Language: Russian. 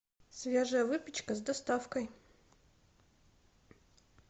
свежая выпечка с доставкой